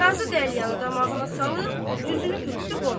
Qazı qəlyanı damağına salıb, özünü tutdu qonağa.